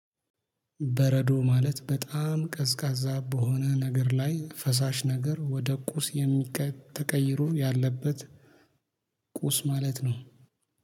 በረዶ ማለት በጣም ቀዝቃዛ በሆነ ነገር ላይ ፈሳሽ ነገር ወደ ቁስ ተቀይሮ ያለበት ቁስ ማለት ነው።